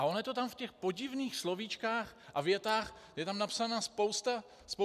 A ono je to tam v těch podivných slovíčkách a větách, je tam napsaná spousta věcí.